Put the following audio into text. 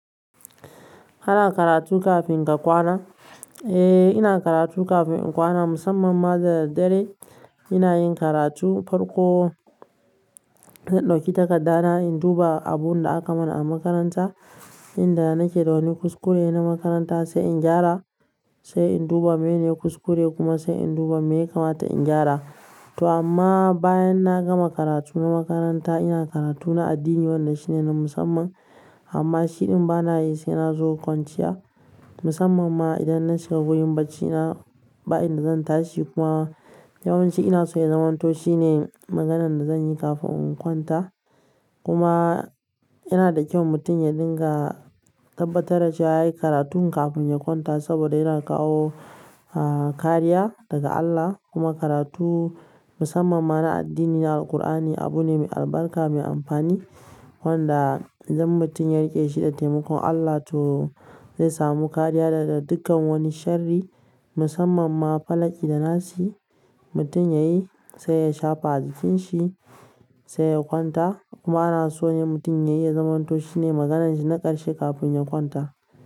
Ana karatu kafin ka kwana? Eh, ina karatu kafin in kwana, musamman ma da daddare ina yin karatu farko zan ɗauki takarda na in duba abun da aka mana a makaranta, inda nake da wani kuskure na makaranta sai in gyara, sai in duba mene kuskure kuma sai in duba me ya kamata in gyara. To amma bayan na gama karatu na makaranta ina karatu na addini wanda shine na musamman. Amma shiɗin bana yi sai na zo kwanciya musamman ma idan na shiga wurin bacina, ba inda zan tashi kuma yawanci ina so ya zamanto shine maganan da zan yi kafin in kwanta. Kuma yana da kyau mutum ya dinga tabbatar dace wa yayi karatu kafin ya kwanta saboda yana kawo kariya daga allah kuma karatu musamman na addini na alkur'ani abune mai albarka mai amfani wanda idan mutum ya riƙe shi da taimakon Allah to zai samu kariya daga dukkan wani shari musamman ma falaƙi da nassi. Mutum ya yi sai ya shafa jikin shi sai ya kwanta kuma ana so ne mutum ya yi ya zamanto shine magananshi na ƙarshe kafin ya kwanta.